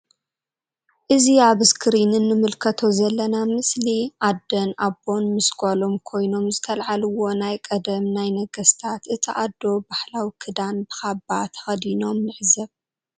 እዚ ኣብ እስክሪን እንምልከቶ ዘለና ምስሊ ኣደን ኣቦን ምስ ጋሎም ኮይኖ ዝተልዓልዎ ናይ ቀደም ናይ ነገስታት እታ ኣዶ ባህላዊ ክዳን ብ ካባ ተከዲኖም ንዕዘብ።